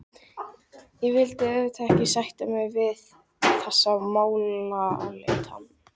Ég vildi auðvitað ekki sætta mig við þessa málaleitan.